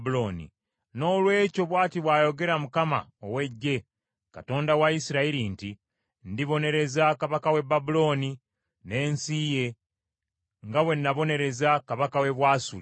Noolwekyo bw’ati bw’ayogera Mukama ow’Eggye, Katonda wa Isirayiri nti, “Ndibonereza kabaka w’e Babulooni n’ensi ye nga bwe nabonereza kabaka w’e Bwasuli.